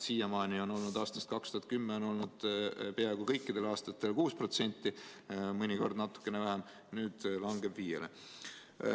Siiamaani on olnud 2010. aastast peaaegu kõikidel aastatel 6%, mõnikord natukene vähem, nüüd langeb viiele.